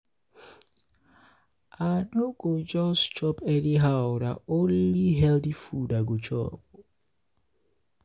i no i no go just chop anyhow na only healthy food i go chop.